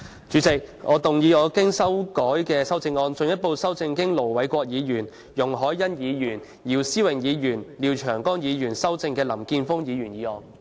主席，我動議我經修改的修正案，進一步修正經盧偉國議員、容海恩議員、姚思榮議員及廖長江議員修正的林健鋒議員議案。